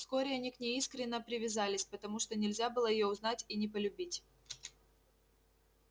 вскоре они к ней искренно привязались потому что нельзя было её узнать и не полюбить